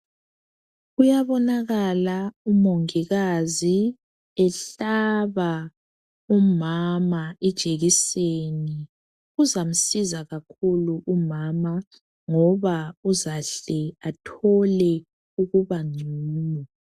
Kuyabonakala umongikazi ehlaba umama ijekiseni. Kuzamsiza kakhulu umama ngoba uzahle athole ukubangcono.